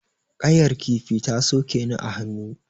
Ƙayar kifi ta soke ni a hannu.